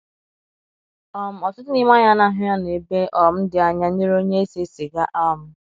um Ọtụtụ n’ime anyị anaghi anọ ebe um di anya nyere onye ese siga um.